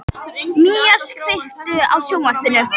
Mías, kveiktu á sjónvarpinu.